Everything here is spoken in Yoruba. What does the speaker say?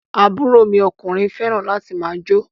Àbúrò mi ọkùnrin fẹràn láti máà jó.